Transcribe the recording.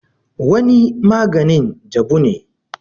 wani maganin jabu ne